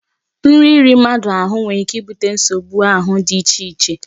Nri iri mmadụ ahụ nwere ike ibute nsogbu ahụ dị icheche